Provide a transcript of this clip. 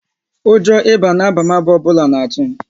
Ụjọ ịba na abamaba ọbụla n'atu m